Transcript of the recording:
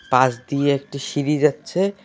পাশ দিয়ে একটি সিঁড়ি যাচ্ছে।